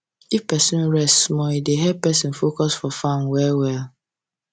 if person rest small e dey help person focus for farm well well